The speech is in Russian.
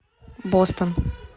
бостон